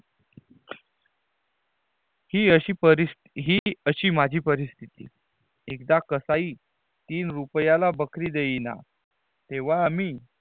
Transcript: ही अशी परिस ही अशी माझी परास्थिती एकदा कसाई तीन रूपीयला बकरी देई ना तेवा आम्ही